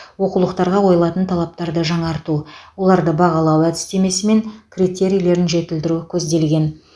оқулықтарға қойылатын талаптарды жаңарту оларды бағалау әдістемесі мен критерийлерін жетілдіру көзделген